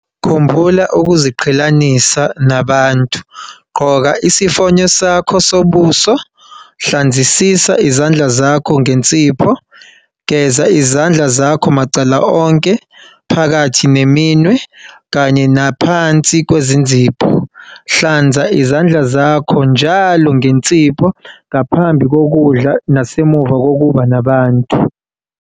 Khumbula ukuziqhelelanisa nabantu. Gqoka isifonyo sakho sobuso. Hlanzisisa izandla zakho ngensipho. Geza izandla zakho macala onke, phakathi neminwe kanye naphansi kwezinzipho. Hlanza izandla zakho njalo ngensipho ngaphambi kokudla nasemva kokuba nabantu.